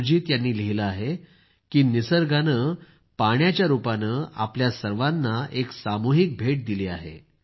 सुजीत यांनी लिहिले आहे की निसर्गाने पाण्याच्या रूपानं आपल्या सर्वांना एक सामूहिक भेट दिली आहे